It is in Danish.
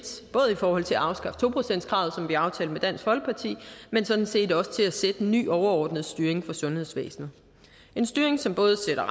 både i forhold til at afskaffe to procentskravet som vi har aftalt med dansk folkeparti men sådan set også til at sætte en ny overordnet styring for sundhedsvæsenet en styring som både sætter